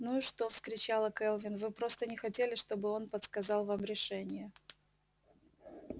ну и что вскричала кэлвин вы просто не хотели чтобы он подсказал вам решение